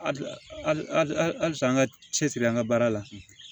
Halisa an ka cɛsiri an ga baara la